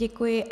Děkuji.